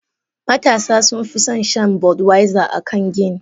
Matasa sun fison shan budweiser akan gin.